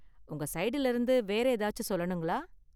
உங்க ஸைடுல இருந்து வேற ஏதாச்சி சொல்லணுங்களா?